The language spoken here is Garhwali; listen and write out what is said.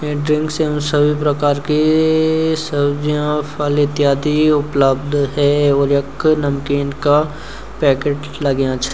ये ड्रिंक्स सभी प्रकार की सब्जियां फल इत्यादि उपलब्ध हैं और यख नमकीन का पैकेट लग्यां छ।